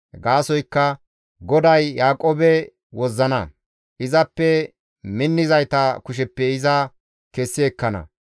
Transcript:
Gaasoykka GODAY Yaaqoobe wozzana; izappe minnizayta kusheppe iza kessi ekkana.